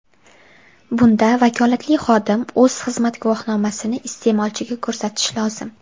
Bunda vakolatli xodim o‘z xizmat guvohnomasini iste’molchiga ko‘rsatishi lozim.